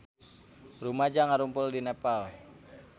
Rumaja ngarumpul di Nepal